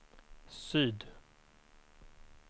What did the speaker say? syd